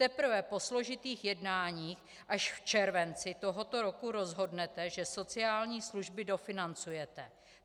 Teprve po složitých jednáních až v červenci tohoto roku rozhodnete, že sociální služby dofinancujete.